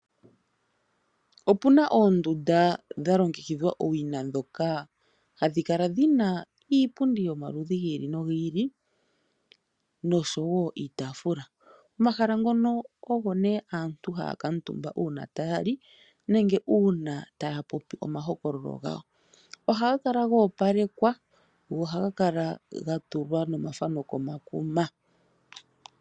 Opuna oondunda dha longekidhwa owina ndhoka hadhi kala dhina iipundi yomaludhi gili nogili noshowo iitafula omahala ngono ogo ne aantu haya kuutumba uuna tayali nenge uuna taya popi omahokololo gawo ohaga kala gopalekwa go ohaga kala ga tulwa nomafano komakuma.